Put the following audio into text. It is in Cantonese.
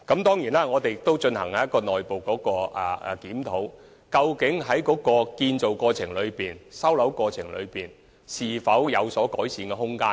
當然，我們亦進行了內部檢討，以了解建造程序和收樓過程是否有改善空間。